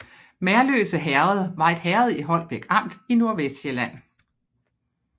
Merløse Herred var et herred i Holbæk Amt i Nordvestsjælland